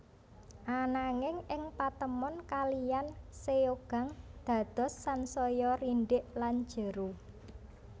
Ananging ing patemon kalihan Seogang dados sansaya rindhik lan jero